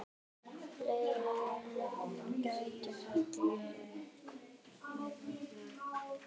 Fleiri lán gætu fallið.